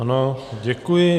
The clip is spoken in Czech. Ano, děkuji.